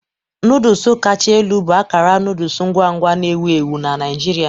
Noodles kacha elu bụ akara noodle ngwa ngwa na-ewu ewu na Naijiria.